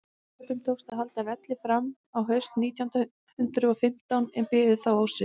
serbum tókst að halda velli fram á haust nítján hundrað og fimmtán en biðu þá ósigur